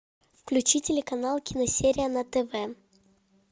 включи телеканал киносерия на тв